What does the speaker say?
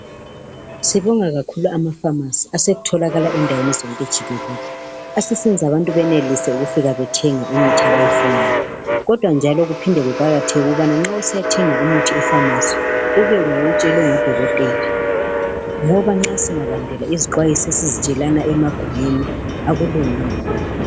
Sibonga kakhulu ama"pharmacy " asetholakala endaweni zonke jikele. Asesenza abantu benelise ukufika bethenga imithi abayifunayo kodwa njalo kuphinde kuqakatheke ukubana nxa usiya thenga umuthi e"pharmacy " ube nguwo owutshelwe ngudokotela ngoba nxa singalandela izixwayiso esizitshelana emagumeni akulunganga lokhu.